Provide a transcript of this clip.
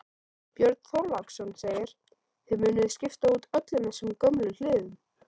Björn Þorláksson: Þið munuð skipta út öllum þessum gömlu hliðum?